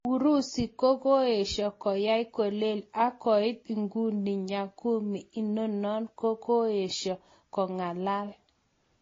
Urusi ko kakoesha koya kolel ,ak koit iguni nyagumi inano ko kakoesha kongalal